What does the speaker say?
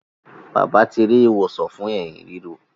Bàbá ti ri ìwòsàn fún Ẹ̀hín ríro.